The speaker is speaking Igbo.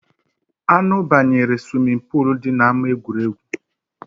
Anụ banyere swimi poolu dị na ama egwuregwu